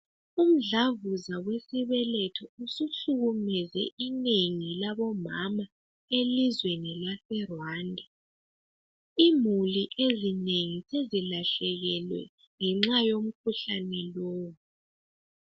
Umdlavuzo wesibeletho suhlukumeze inengi labo mama elizweni lase Rwanda. Imuli ezinengi sezilahlekelwe ngenxa yomkhuhlane lowu.